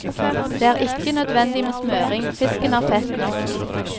Det er ikke nødvendig med smøring, fisken har fett nok.